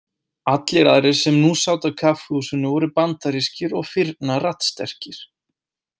Allir aðrir sem nú sátu á kaffihúsinu voru bandarískir og firna raddsterkir.